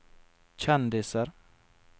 kjendiser